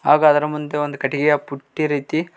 ಹಾಗು ಅದರ ಮುಂದೆ ಒಂದ ಕಟ್ಟಿಗಿಯ ಪುಟ್ಟಿ ರೀತಿ--